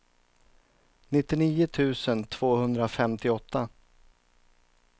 nittionio tusen tvåhundrafemtioåtta